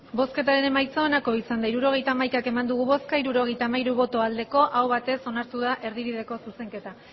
hirurogeita hamaika eman dugu bozka hirurogeita hamairu bai aho batez onartu da erdibideko zuzenketa